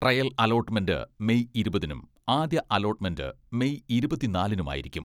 Trial allotment May ഇരുപതിനും ആദ്യ allotment May ഇരുപത്തിനാലിനുമായിരിക്കും.